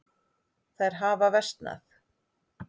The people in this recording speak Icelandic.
Þær hafa versnað.